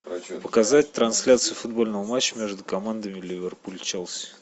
показать трансляцию футбольного матча между командами ливерпуль челси